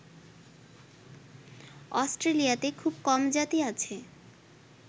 অস্ট্রেলিয়াতে খুব কম জাতি আছে